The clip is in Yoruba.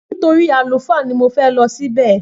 Nítorí àlùfáà ni mo fẹ lo ṣì bẹ